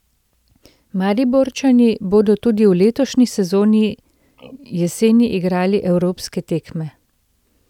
Mariborčani bodo tudi v letošnji sezoni jeseni igrali evropske tekme.